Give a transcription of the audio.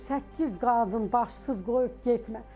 Bu səkkiz qadın başsız qoyub getmə.